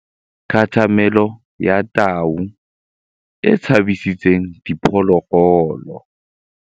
Katamêlô ya tau e tshabisitse diphôlôgôlô.